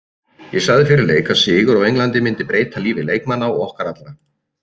Ég sagði fyrir leik að sigur á Englandi myndi breyta lífi leikmanna og okkar allra.